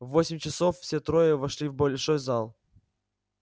в восемь часов все трое вошли в большой зал